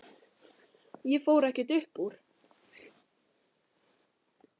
Ég fór ekkert upp úr.